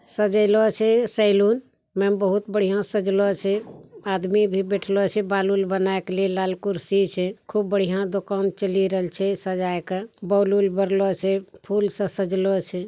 सेलो छे सैलून ने बहुत बिया सजलों छे आदमी भी बेठेलो छे बालवाल बनाई के लाल खुरशी छे खूब बड़िया दुकान चली रेय छे सजायका बौलून बरलों छे फूल सा सजलों छे ।